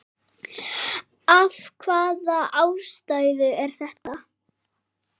Af hvaða ástæðu er þetta?